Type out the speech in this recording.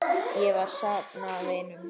Ég er að safna vinum.